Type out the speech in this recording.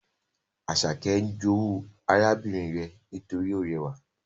Asake n jowu arabinrin re nitori o rewa